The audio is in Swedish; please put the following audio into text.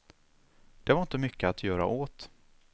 Det var inte mycket att göra åt.